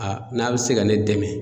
Aa n'a bi se ka ne dɛmɛ